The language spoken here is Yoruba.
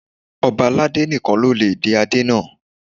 Ọ̀ba aládé nìkan ló lè dé adé náà.